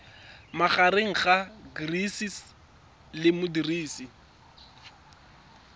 magareng ga gcis le modirisi